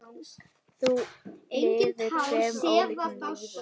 Þú lifðir tveimur ólíkum lífum.